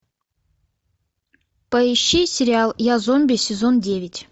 поищи сериал я зомби сезон девять